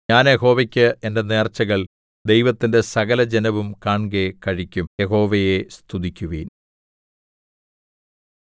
ഞാൻ യഹോവയ്ക്ക് എന്റെ നേർച്ചകൾ ദൈവത്തിന്റെ സകലജനവും കാൺകെ കഴിക്കും യഹോവയെ സ്തുതിക്കുവിൻ